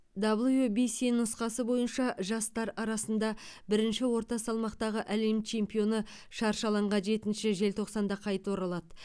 даблю би си нұсқасы бойынша жастар арасында бірінші орта салмақтағы әлем чемпионы шаршы алаңға жетінші желтоқсанда қайта оралады